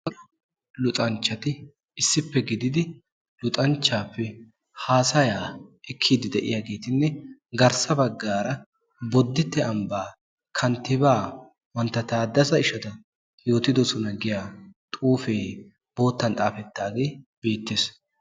Luxanchchati issippe gididi luxanchchaappe haasayaa ekkidi diyaagetinne garssa baggaara boditte kanttibaa mantta taadessa eshetu yootidosona giyaa xuufee boottan xaafettaagee beettees.